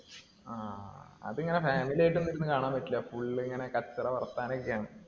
ആ. അതിങ്ങനെ family ആയിട്ട് ഒന്നുമിരുന്ന് കാണാൻ പറ്റില്ല. Full ഇങ്ങിനെ കച്ചറ വർത്താനം ഒക്കെയാണ്.